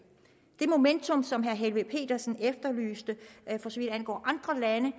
det momentum som herre helveg petersen efterlyste for så vidt angår andre lande